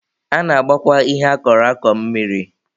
A na-agbakwa ihe a kọrọ akọ mmiri.